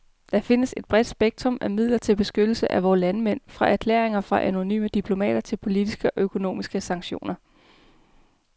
Der findes et bredt spektrum af midler til beskyttelse af vores landsmænd, fra erklæringer fra en anonym diplomat til politiske og økonomiske sanktioner.